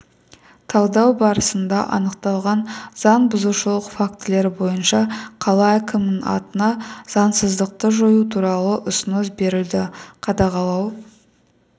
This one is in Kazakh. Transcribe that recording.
талдау барысында анықталған заң бұзушылық фактілері бойынша қала әкімінің атына заңсыздықты жою туралы ұсыныс берілді қадағалау